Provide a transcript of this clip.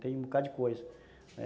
Tem um bocadinho de coisa.